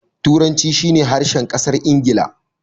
Turanci shi ne harshen ƙasar Ingila.